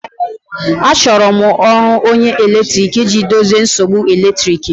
Achọrọ m onye ọrụ eletrik iji dozie nsogbu eletrik m